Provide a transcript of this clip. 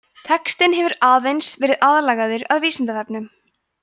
textinn hefur aðeins verið aðlagaður að vísindavefnum